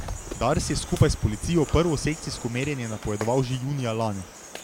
Dars je skupaj s policijo prvo sekcijsko merjenje napovedoval že junija lani.